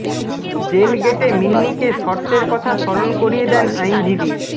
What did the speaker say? jail গেটে মিন্নিকে শর্তের কথা স্মরণ করিয়ে দেন আইনজীবী